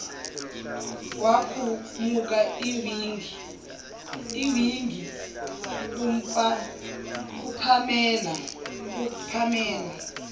kwakhumuka iwigi kupamela